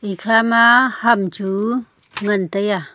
ekha ma ham chu nganbtaiya.